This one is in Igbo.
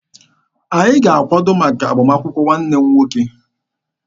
Anyị ga-akwado maka agbamakwụkwọ nwanne m nwoke.